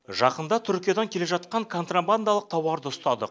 жақында түркиядан келе жатқан контрабандалық тауарды ұстадық